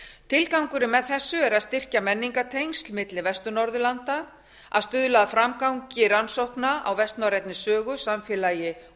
tilgangurinn með þessu er að styrkja menningartengsl milli vestur norðurlanda að stuðla að framgangi rannsókna á vestnorrænni sögu samfélagi